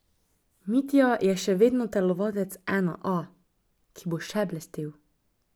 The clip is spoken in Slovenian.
Mitja je še vedno telovadec ena A, ki bo še blestel.